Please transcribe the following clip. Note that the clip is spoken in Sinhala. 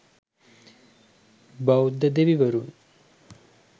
බෞද්ධ දෙවිවරුන්